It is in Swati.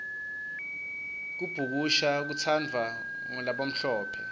kubhukusna kutsandvwa nqulabamhlophe